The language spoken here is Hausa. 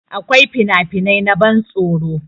Akwai finafinai na ban tsoro